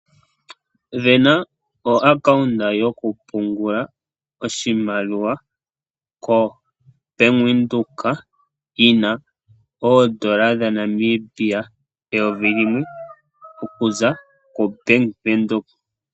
Sindana o accounta yoku pungula oshimaliwa koo Bank Windhoek yina oodola dha Namibia eyovi limwe okuza ko Bank Windhoek.